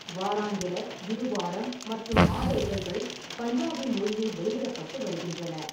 வாராந்திர, இருவாரம் மற்றும் மாத இதழ்கள் பஞ்சாபி மொழியில் வெளியிடப்பட்டு வருகின்றன.